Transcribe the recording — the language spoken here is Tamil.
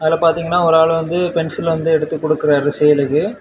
இதுல பார்த்தீங்கன்னா ஒரு ஆளு வந்து பென்சில் வந்து எடுத்து குடுக்குறாரு சேலுக்கு .